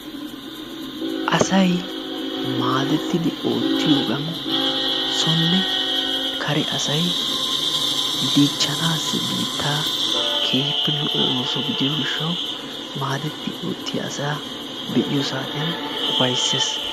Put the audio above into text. Asay maadettidi oottiyogan sonne kare asay dichchanaassi biittaa keehippe lo"o ooso gidiyo gishshawu maadetti oottiya asaa be'iyo saatiyan ufayssees.